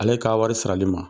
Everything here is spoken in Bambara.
Ale ka wari sirali ma.